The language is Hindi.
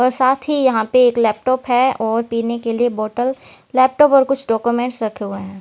साथ ही यहां पे एक लैपटॉप है और पीने के लिए बोटल लैपटॉप और कुछ डाक्यूमेंट्स रखे हुए हैं।